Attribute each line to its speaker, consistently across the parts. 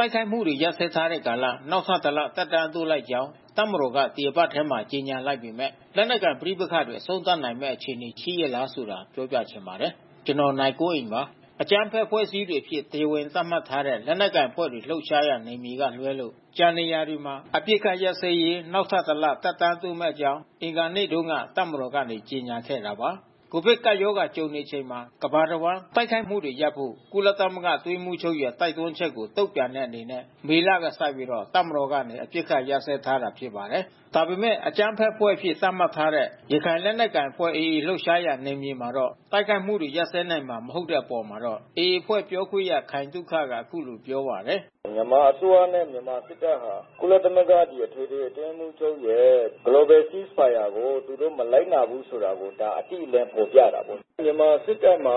Speaker 1: ိုက်ခိုက်မှုတွေ ရပ်စဲထားတဲ့ကာလ နောက်ထပ် ၁ လ သက်တမ်းတိုးလိုက်ကြောင်း တပ်မတော်က ဒီတပတ်ထဲမှာပဲ ကြေညာလိုက်ပေမဲ့ လက်နက်ကိုင် ပဋိပက္ခတွေ အဆုံးသတ်နိုင်မယ့် အခြေအနေ ရှိရဲ့လားဆိုတာကို ပြောပြချင်ပါတယ်။ ဗွီအိုအေမြန်မာပိုင်းသတင်းထောက် နိုင်ကွန်းအိန် ပြောပြပါမယ်။ အကြမ်းဖက်အဖွဲ့အစည်းတွေအဖြစ် တရားဝင် သတ်မှတ်ထားတဲ့ လက်နက်ကိုင်အဖွဲ့တွေ လှုပ်ရှားရာ နယ်မြေကလွဲလို့ ကျန်နေရာတွေမှာ အပစ်အခတ်ရပ်စဲရေး နောက်ထပ် ၁ လ သက်တမ်းတိုးမယ့်အကြောင်း အင်္ဂါနေ့တုန်းက တပ်မတော်က ကြေညာခဲ့တာပါ။ ကိုဗစ်ကပ်ရောဂါ ကြုံနေရချိန်မှာ ကမ္ဘာတဝန်း တိုက်ခိုက်မှုတွေရပ်ဖို့ ကုလသမဂ္ဂ အတွင်းရေးမှူးချုပ်ရဲ့ တိုက်တွန်းချက်ကို တုံ့ပြန်တဲ့ အနေနဲ့ မေလကစပြီး တပ်မတော်က အပစ်အခတ် ရပ်စဲထားတာ ဖြစ်ပါတယ်။ ဒါပေမဲ့လည်း အကြမ်းဖက်အဖွဲ့အဖြစ် သတ်မှတ်ထားတဲ့ ရခိုင်လက်နက်ကိုင်အဖွဲ့ AA လှုပ်ရှားရာ နယ်မြေမှာတော့ တိုက်ခိုက်မှုတွေ ရပ်စဲနိုင်မှာ မဟုတ်တဲ့အပေါ်မှာတော့ AA အဖွဲ့ပြောခွင့်ရ ခိုင်သုခက အခုလို ပြောပါတယ်။ “မြန်မာအစိုးရနဲ့မြန်မာစစ်တပ်ဟာ ကုလသမဂ္ဂအထွေထွေ အတွင်းရေးမှူးရဲ့ Global Ceasefire ကို သူတို့မလိုက်နာ ဘူးဆိုတာကို ဒါအတိအလင်းဖေါ်ပြတာဘဲ။ မြန်မာစစ်တပ်မှာ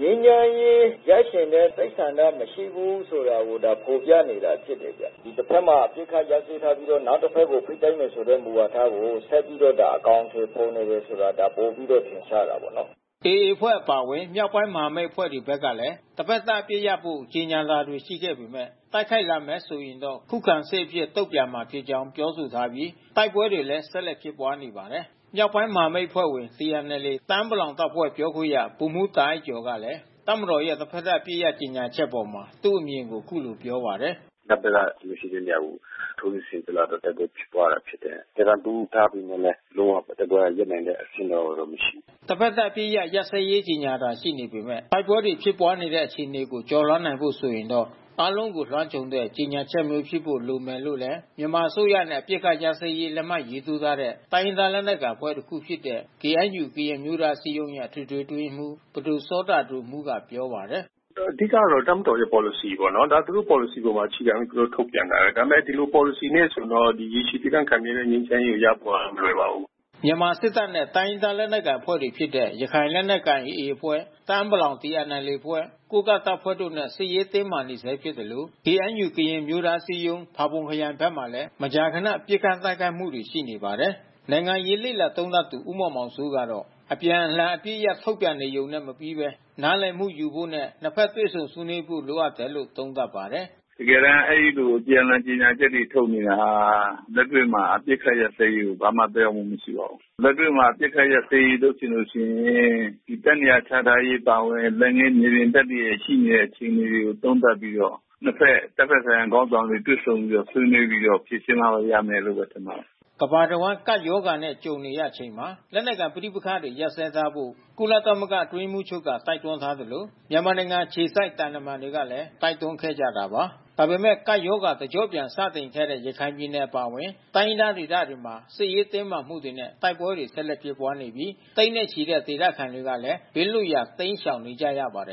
Speaker 1: ငြိမ်းချမ်းရေး ရချင်တဲ့စိတ်ဆန္ဒမရှိဘူးဆိုတာကို ဖေါ်ပြနေ တာဖြစ်တယ်။ တဖက်မှာ အပစ်ခတ်ရပ်စဲထားပြီးတော့ နောက်တဖက်ကို ဖိတိုက်မယ်ဆိုတဲ့မူဝါဒကို ဆက်ပြီးတော့ အကောင်အထည်ဖေါ်နေတာ ဆိုတာ ပိုပြီးတော့ ထင်ရှားတာပေါ့နော်။” AA အဖွဲ့အပါအဝင် မြောက်ပိုင်း မဟာမိတ်အဖွဲ့တွေဘက်ကလည်း တဘက်သတ်အပစ်ရပ်ဖို့ ကြေညာတာတွေ ရှိပေမဲ့ တိုက်ခိုက်လာမယ် ဆိုရင်တော့ ခုခံစစ်အဖြစ် တုံ့ပြန်မှာဖြစ်ကြောင်း ပြောဆိုထားပြီး တိုက်ပွဲတွေလည်း ဆက်လက်ဖြစ်ပွားနေပါတယ်။ မြောက်ပိုင်းမဟာမိတ် အဖွဲ့ဝင် TNLA တအာင်းပလောင်တပ်ဖွဲ့ ပြောခွင့်ရဗိုလ်မှူးတာအိုက်ကျော်ကလည်း တပ်မတော်ရဲ့ တဘက်သတ် အပစ်ရပ် ကြေညာချက်အပေါ် သူ့အမြင်ကို အခုလိုပြောပါတယ်။ “တပ်ဖက်ကကျွန်တော်တို့ရှိတဲ့နေရာကို ထိုးစစ်ဆင်လာတဲ့ အတွက်တိုက်ပွဲဖြစ်ပွါးရတာဖြစ်တယ်။ ကျွန်တော် တို့သက်တမ်းတိုးထားပေမဲ့လဲ လုံးဝတိုက်ပွဲရပ်နိုင်တဲ့အဆင့်ကမရှိ ဘူး။” တဘက်သတ် အပစ်အခတ် ရပ်စဲရေးကြေညာတာတွေ ရှိနေပေမဲ့ တိုက်ပွဲတွေ ဖြစ်ပွားနေတဲ့ အခြေအနေကို ကျော်လွှားနိုင်ဖို့ ဆိုရင်တော့ အားလုံးကို လွှမ်းခြုံတဲ့ ကြေညာချက်မျိုးဖြစ်ဖို့ လိုမယ်လို့လည်း မြန်မာအစိုးရနဲ့ အပစ်အခတ် ရပ်စဲရေး လက်မှတ်ထိုးထားတဲ့ တိုင်းရင်းသား လက်နက်ကိုင် အဖွဲ့တခုဖြစ်တဲ့ KNU ကရင်အမျိုးသားအစည်းအရုံးရဲ့ အထွေထွေအတွင်းရေးမှူး ပဒိုစောတာဒိုမှုးက ပြောပါတယ်။ “အဓိကတော့ တပ်မတော်ရဲ့ပေါ်လစီပေါ့နော်။ သူတို့ပေါ်လစီအပေါ်အခြေခံပြီးသူတို့ထုတ်ပြန်တယ်။ ဒါပေမဲ့ ဒီလို ပေါ်လစီ နဲ့ ဆိုရင်တော့ ရေရှည်တည်တန့်ခိုင်မြဲတဲ့ငြိမ်းချမ်းရေးရဖို့ဟာမလွယ်ပါဘူး။” မြန်မာစစ်တပ်နဲ့ တိုင်းရင်းသားလက်နက်ကိုင်အဖွဲ့တွေဖြစ်တဲ့ ရခိုင်လက်နက်ကိုင်AAအဖွဲ့ တအာင်း ပလောင်TNLAအဖွဲ့ ကိုးကန့်တပ်ဖွဲ့တို့နဲ့ စစ်ရေးတင်းမာ နေဆဲဖြစ်သလို KNU ကရင်အမျိုးသားအစည်းအရုံး ဖါးပွန်ခရိုင်ဖက်မှာလဲ မကြာခဏ ပစ်ခတ်တိုက်ခိုက်မှုတွေ ရှိနေပါတယ်။ နိုင်ငံရေးလေ့လာသုံးသပ်သူ ဦးမောင်မောင်စိုးကတော့ အပြန်အလှန် အပစ်ရပ်ထုတ်ပြန်နေယုံနဲ့မပြီးဘဲ နားလည်မှု ယူနိုင်ဖို့ နှစ်ဖက် တွေ့ဆုံ ဆွေးနွေးဖို့ လိုအပ်နေတယ်လို့ သုံးသပ်ပါတယ်။ “တကယ်တန်းအဲဒီ အပြန်အလှန်ကြေညာချက်တွေထုတ်နေတာဟာ လက်တွေ့ မှာ အပစိခတ်ရပ်စဲရေးကို ဘာမှသက်ရောက်မှုမရှိပါဘူး။ လက်တွေ့မှာ အပစ်ခတ်ရပ်စဲရေးလုပ်ချင်လို့ရှိရင် တပ်နေရာချ ထားရေးအပါအဝင် လက်ငင်းမြေပြင်တပ်တွေ ရှိနေတဲ့ အခြေအနေကိုသုံးသပ်ပြီးတော့ နှစ်ဘက်တပ်ဖက် ဆိုင်ရာ ခေါင်း ဆောင်တွေတွေ့ဆုံပြီးတော့ ဆွေးနွေးပြီး တော့ ဖြေရှင်းမှဘဲရမယ်။” ကမ္ဘာတဝန်း ကပ်ရောဂါနဲ့ ကြုံနေရချိန်မှာ လက်နက်ကိုင်ပဋိပက္ခတွေ ရပ်စဲထားကြဖို့ ကုလသမဂ္ဂ အတွင်းရေးမှူးချုပ်က တိုက်တွန်းထားသလို မြန်မာနိုင်ငံ အခြေစိုက် သံတမန်တွေကလည်း တိုက်တွန်းခဲ့ကြတာပါ။ ဒါပေမဲ့လည်း ကပ်ရောဂါ တကျော့ပြန်စတင်ခဲ့တဲ့ ရခိုင်ပြည်နယ် အပါအဝင် တိုင်းရင်းသား ဒေသတွေမှာ စစ်ရေးတင်းမာမှုတွေနဲ့ တိုက်ပွဲတွေ ဆက်လက်ဖြစ်ပွားနေပြီး သိန်းနဲ့ချီတဲ့ ဒေသခံတွေလည်း ဘေးလွတ်ရာ တိမ်းရှောင်နေကြရပါတယ်